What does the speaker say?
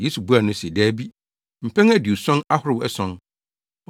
Yesu buaa no se, “Dabi! Mpɛn aduɔson ahorow ason!